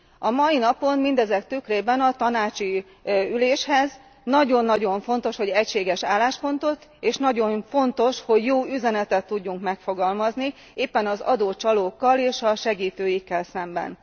A mai napon mindezek tükrében a tanácsi üléshez nagyon nagyon fontos, hogy egységes álláspontot, és nagyon fontos, hogy jó üzenetet tudjunk megfogalmazni, éppen az adócsalókkal és a segítőikkel szemben.